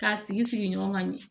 K'a sigi sigi ɲɔgɔn ka ɲɛ